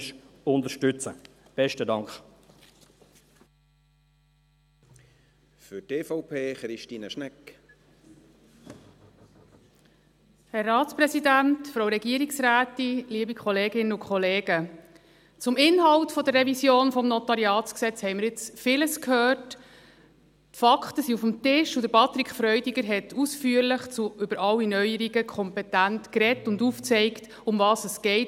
Zum Inhalt der Revision des NG haben wir jetzt vieles gehört, die Fakten liegen auf dem Tisch, und Patrick Freudiger hat ausführlich und kompetent über alle Neuerungen geredet und aufgezeigt, worum es geht.